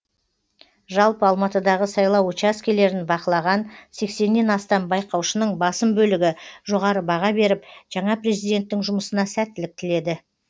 жалпы алматыдағы сайлау учаскелерін бақылаған сексеннен астам байқаушының басым бөлігі жоғары баға беріп жаңа президенттің жұмысына сәттілік тіледі